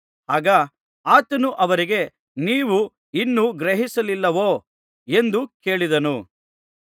ಆಗ ಆತನು ಅವರಿಗೆ ನೀವು ಇನ್ನೂ ಗ್ರಹಿಸಲಿಲ್ಲವೋ ಎಂದು ಕೇಳಿದನು